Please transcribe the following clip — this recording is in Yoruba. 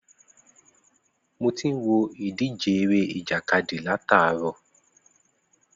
Mo tí ń wo ìdíje eré ìjàkadì látàárọ̀